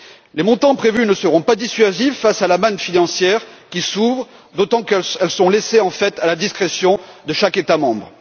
Les montants prévus ne seront pas dissuasifs face à la manne financière qui s'ouvre, d'autant qu'ils sont laissés en fait à la discrétion de chaque État membre.